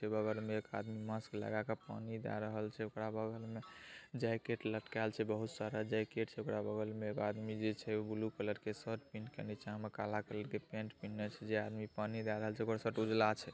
एक में एक आदमी मास्क लगा कर फोन में जा रहल छे अलग बगल में जेकेट लटकाल छे बहुत सारे राज्य छे अगल बगल में एक आदमी छे बुलु कलर किए शर्ट पहेन के निचा काला कलर के पेंट पहेन छे जे आदमी पानी दलाल छे ।